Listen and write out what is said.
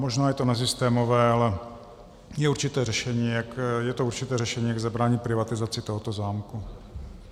Možná je to nesystémové, ale je to určité řešení, jak zabránit privatizaci tohoto zámku.